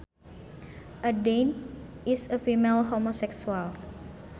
A dyke is a female homosexual